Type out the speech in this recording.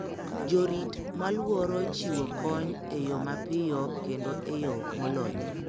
Jorit malworo chiwo kony e yo mapiyo kendo e yo molony.